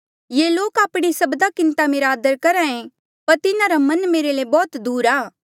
ये लोक आपणे सब्दा किन्हें ता मेरा आदर करहा ऐें पर तिन्हारा मन मेरे ले बौहत दूर आ